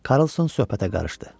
Karlson söhbətə qarışdı.